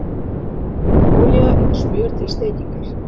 Olía eða smjör til steikingar